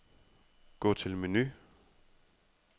Gå til menu.